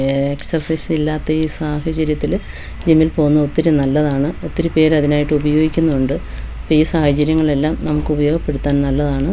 Excise ഇല്ലാത്ത ഈ സാഹചര്യത്തില് ജിമ്മിൽ പോകുന്നത് ഒത്തിരി നല്ലതാണ് ഒത്തിരി പേര് അതിനായിട്ട് ഉപയോഗിക്കുന്നുണ്ട് ഇപ്പോ ഈ സാഹചര്യങ്ങളിലെല്ലാം നമുക്ക് ഉപയോഗപ്പെടുത്താൻ നല്ലതാണ്.